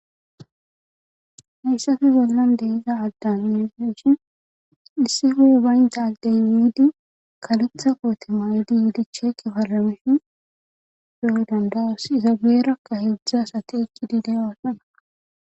hayssafe bollan deiza agdanni hefeshin issi hu7e baynta aldeyn yidi kalutha qootimayidi yiidicheeki falamishin yo7oy dandawus izabeerakka heudzdzas ati eqqidi deyoasana